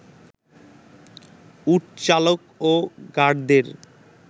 উটচালক ও গার্ডদের